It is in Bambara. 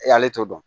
Ale t'o dɔn